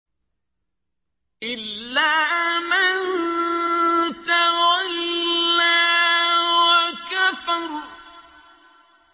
إِلَّا مَن تَوَلَّىٰ وَكَفَرَ